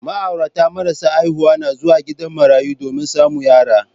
Ma'aurata marasa haihuwa na zuwa gidan marayu domin samu yara.